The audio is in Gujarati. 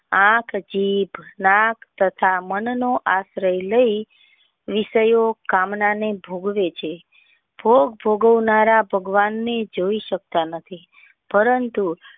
આંખ જીભ નાક તથા મન નો આશ્રય લઇ વિસયો કામના ને ભોગવે છે ભોગ ને જોઈ સકતા નથી પરતુ.